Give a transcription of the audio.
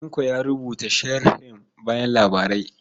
Tanko ya rubuta sharhin bayan labarai.